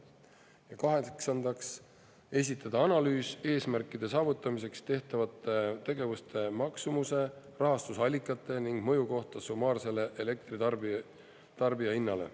Ja kaheksandaks, esitada analüüs eesmärkide saavutamiseks tehtavate tegevuste maksumuse, rahastusallikate ning mõju kohta summaarsele elektri tarbijahinnale.